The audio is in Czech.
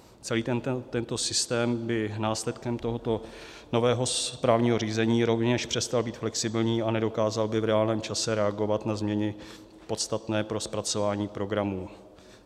Celý tento systém by následkem tohoto nového správního řízení rovněž přestal být flexibilní a nedokázal by v reálném čase reagovat na změny podstatné pro zpracování programů.